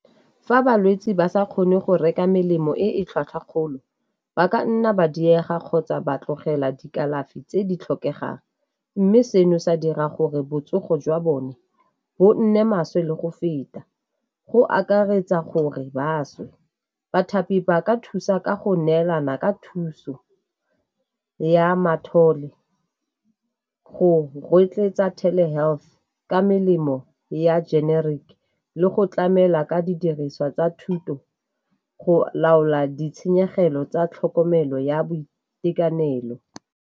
Fa balwetse ba sa kgone go reka melemo e e tlhwatlhwa kgolo, ba ka nna ba diega kgotsa ba tlogela dikalafi tse di tlhokegang, mme seno sa dira gore botsogo jwa bone bo nne maswe le go feta, go akaretsa gore ba swe. Bathapi ba ka thusa ka go neelana ka thuso ya go rotloetsa health ka melemo ya generic le go tlamela ka didiriswa tsa thuso go laola ditshenyegelo tsa tlhokomelo ya boitekanelo.